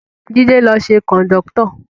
Jide ló ṣe kọ̀ndọ́tọ̀